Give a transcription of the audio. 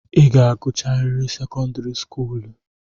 I ga-agụcharịrị sekọndịrị skuulu!